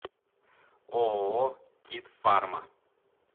ооо кит фарма